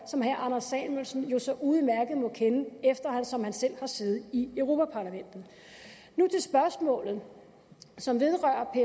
som herre anders samuelsen jo så udmærket må kende eftersom han selv har siddet i europa parlamentet nu til spørgsmålet som vedrører